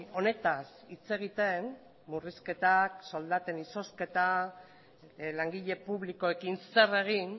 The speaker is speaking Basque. honetaz hitz egiten murrizketak soldaten izozketa langile publikoekin zer egin